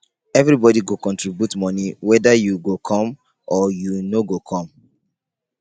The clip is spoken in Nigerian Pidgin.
everybodi go contribute moni weda you go come or you no go come.